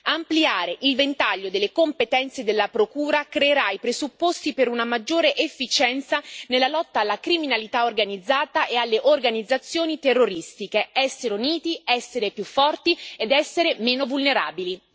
Ampliare il ventaglio delle competenze della Procura creerà i presupposti per una maggiore efficienza nella lotta alla criminalità organizzata e alle organizzazioni terroristiche essere uniti, essere più forti, ed essere meno vulnerabili.